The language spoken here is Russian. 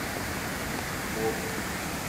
лост